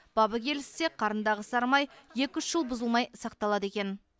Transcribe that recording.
бабы келіссе қарындағы сарымай екі үш жыл бұзылмай сақталады екен